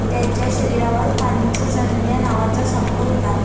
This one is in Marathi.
त्याच्या शरीरावर पांचजन्य नावाचा संख होता.